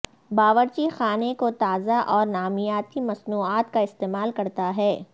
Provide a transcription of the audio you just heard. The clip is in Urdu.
باورچی خانے کو تازہ اور نامیاتی مصنوعات کا استعمال کرتا ہے